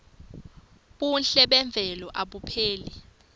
buhle memvelo abupheli